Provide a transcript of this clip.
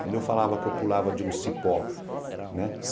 Quando eu falava que eu pulava de um cipó, né?